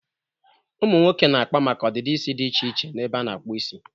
Ụmụ nwoke na-akpa maka ọdịdị isi dị iche iche n'ebe a na-akpu isi.